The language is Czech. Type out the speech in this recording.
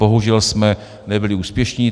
Bohužel jsme nebyli úspěšní.